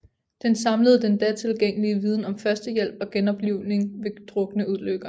Den samlede den da tilgængelige viden om førstehjælp og genoplivning ved drukneulykker